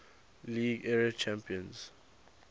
league era champions